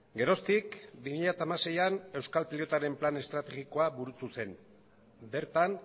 geroztik bi mila hamaseian euskal pilotaren plan estrategikoa burutu zen bertan